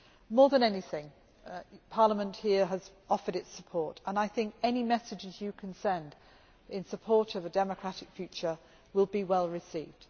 More than anything, Parliament here has offered its support, and I think any messages you can send in support of a democratic future will be well received.